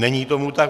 Není tomu tak.